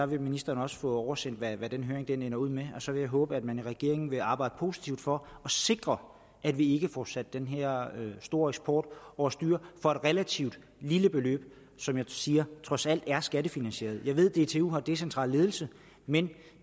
vil ministeren også få oversendt hvad den høring ender ud med og så vil jeg håbe at man i regeringen vil arbejde positivt for sikre at vi ikke får sat den her store eksport over styr for et relativt lille beløb som jeg siger trods alt er skattefinansieret jeg ved at dtu har decentral ledelse men